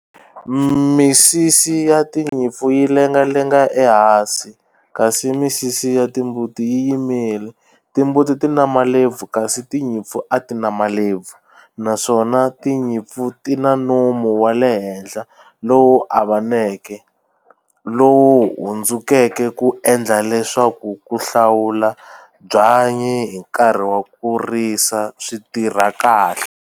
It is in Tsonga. Misisi ya tinyimpfu yi lengalenga ehansi kasi misisi ya timbuti yi yimile timbuti ti na malebvu kasi tinyimpfu a ti na malebvu naswona tinyimpfu ti na nomu wa le henhla lowu avaneke lowu hundzukeke ku endla leswaku ku hlawula byanyi hi nkarhi wa ku risa swi tirha kahle.